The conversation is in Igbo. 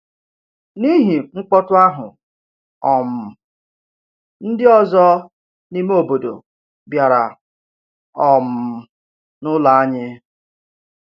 N’ihi mkpọtụ ahụ, um ndị ọzọ n’ime obodo bịara um n’ụlọ anyị.